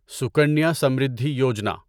Sukanya Samriddhi Yojana